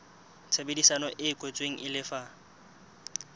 tshebedisano e kwetsweng e lefa